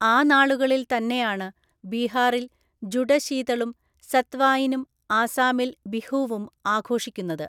ആ നാളുകളില്‍ തന്നെയാണ് ബീഹാറില്‍ ജുഡശീതളും സത് വായിനും ആസാമില്‍ ബിഹൂവും ആഘോഷിക്കുന്നത്.